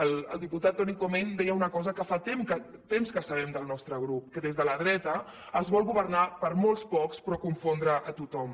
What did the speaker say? el diputat toni comín deia una cosa que fa temps que sabem el nostre grup que des de la dreta es vol governar per a molt pocs però confondre a tothom